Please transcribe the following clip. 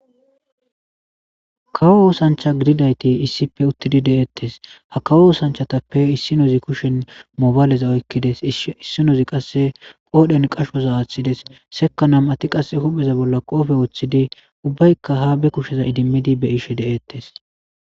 kawo oosancha gididayti issife uttidi de7eettes ha kawo oosanchatappe issinozi kushen mobayleza oykkides issinozi qasse qoodhen qashoza aaththides seka nam ati qasse hupheza bolla qoofe wooththidi ubbaykka ha be kusheza idimmidi be ishe de'eettes.